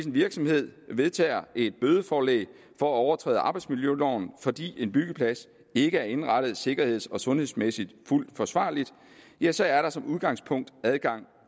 virksomhed vedtager et bødeforelæg for at overtræde arbejdsmiljøloven fordi en byggeplads ikke er indrettet sikkerheds og sundhedsmæssigt fuldt forsvarligt ja så er der som udgangspunkt adgang